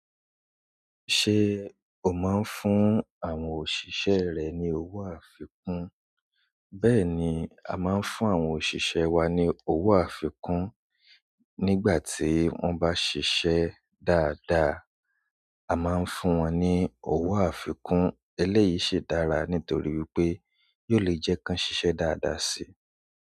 Ṣé o máa ń fún àwọn òṣìṣẹ́ rẹ ní owó àfikún? Bẹ́ẹ̀ni, a máa ń fún àwọn òṣìṣẹ́ wá ní owó àfikún. Nígbà tí wọ́n bá ṣise dáadáa, a máa ń fún wọ́n ní owó àfikún. Eléyìí ṣe dára nítorí wipé yóò lè jẹ́ ká ṣiṣẹ́ dáadáa si.